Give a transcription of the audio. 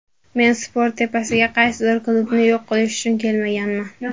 Men sport tepasiga qaysidir klubni yo‘q qilish uchun kelmaganman.